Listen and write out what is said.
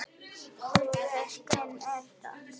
Og við stein er stopp.